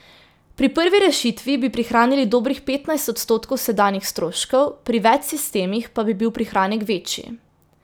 Pri prvi rešitvi bi prihranili dobrih petnajst odstotkov sedanjih stroškov, pri več sistemih pa bi bil prihranek večji.